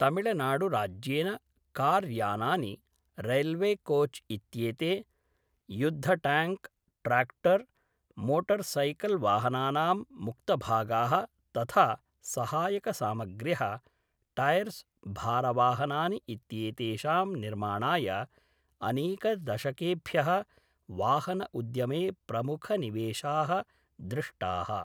तमिळनाडुराज्येन कार्यानानि, रैल्वेकोच् इत्येते, युद्धट्याङ्क्, ट्राक्टर्, मोटर्सैकल्वाहनानां मुक्तभागाः तथा सहायकसामग्र्यः, टैर्स्, भारवाहनानि इत्येतेषां निर्माणाय अनेकदशकेभ्यः वाहनउद्यमे प्रमुखनिवेशाः दृष्टाः।